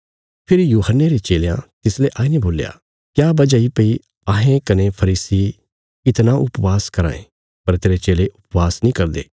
फेरी बपतिस्मा देणे औल़े यूहन्ने रे चेलयां तिसले आईने बोल्या क्या वजह इ भई अहें कने फरीसी इतणा उपवास कराँ ये पर तेरे चेले उपवास नीं करदे